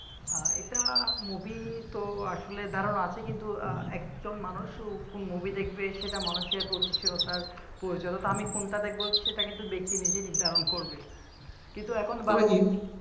এটা movie তো আসলে ধারণা আছে কিন্তু কজন মানুষ কোন movie দেখবে মানুষের রুচিশীলতার পরিচয় so আমি কোনটা দেখব সেটি দেখে নিজেই নির্ধারণ করবে কিন্তু এখন তবে হিন্দি